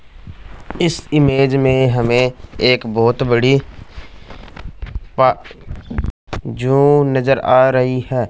इस इमेज में हमें एक बहोत बड़ी पा जु नज़र आ रही है।